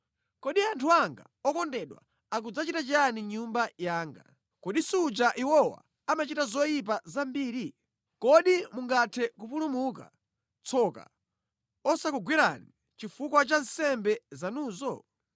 “Kodi anthu anga okondedwa akudzachita chiyani mʼNyumba yanga? Kodi suja iwowa amachita zoyipa zambiri? Kodi mungathe kupulumuka, tsoka osakugwerani chifukwa cha nsembe zanuzo?”